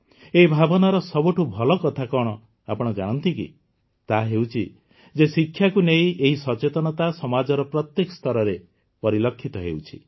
ଏହି ଭାବନାର ସବୁଠୁ ଭଲ କଥା କଣ ଆପଣ ଜାଣନ୍ତି କି ତାହା ହେଉଛି ଯେ ଶିକ୍ଷାକୁ ନେଇ ଏହି ସଚେତନତା ସମାଜର ପ୍ରତ୍ୟେକ ସ୍ତରରେ ପରିଲକ୍ଷିତ ହେଉଛି